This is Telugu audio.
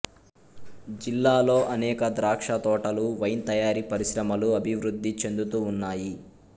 జిల్లాలో అనేక ద్రాక్షతోటలు వైన్ తయారీ పరిశ్రమలు అభివృద్ధి చెందుతూ ఉన్నాయి